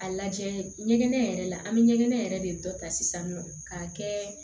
A lajɛ ɲɛgɛn yɛrɛ la an be ɲɛgɛn yɛrɛ de dɔ ta sisan nɔ k'a kɛ